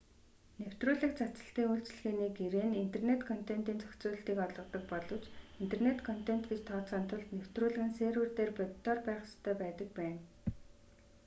нэвтрүүлэг цацалтын үйлчилгээний гэрээ нь интернэт контентын зохицуулалтыг олгодог боловч интернэт контент гэж тооцохын тулд нэвтрүүлэг нь сервер дээр бодитоор байх ёстой байдаг байна